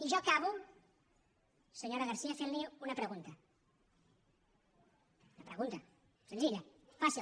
i jo acabo senyora garcía fent li una pregunta una pregunta senzilla fàcil